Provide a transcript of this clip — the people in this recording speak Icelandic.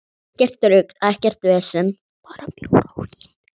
Ekkert rugl, ekkert vesen.